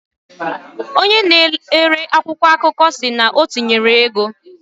Onye na ele akwụkwọ akụkọ siri na otinyere ego